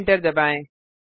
enter दबाएँ